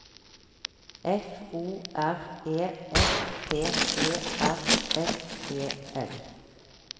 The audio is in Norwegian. F O R E S P Ø R S E L